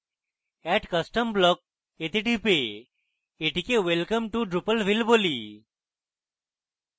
add custom block এ টিপে এটিকে welcome to drupalville বলি